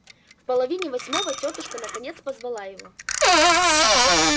в половине восьмого тётушка наконец позвала его